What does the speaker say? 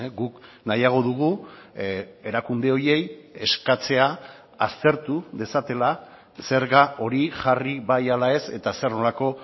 guk nahiago dugu erakunde horiei eskatzea aztertu dezatela zerga hori jarri bai ala ez eta zer nolako